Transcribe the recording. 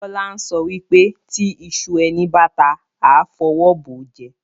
Bola ń sọ wípé "Tí ìṣù ẹni báta, a fọwọ́ bọ̀ jẹ"